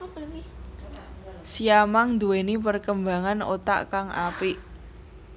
Siamang nduwéni perkembangan otak kang apik